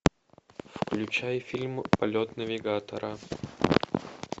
включай фильм полет навигатора